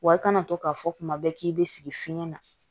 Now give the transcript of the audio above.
Wa i kana to k'a fɔ kuma bɛɛ k'i bɛ sigi fiɲɛ na